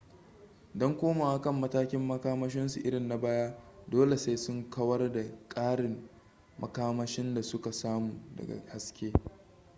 don komowa kan matakin makamashinsu irin na baya dole sai sun kawar da ƙarin makamashin da suka samu daga haske